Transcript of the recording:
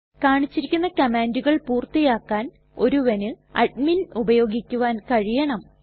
കാണിച്ചിരിക്കുന്ന കമ്മാണ്ടുകൾ പൂർത്തിയാക്കാൻ ഒരുവന് അഡ്മിൻ ഉപയോഗിക്കുവാൻ കഴിയണം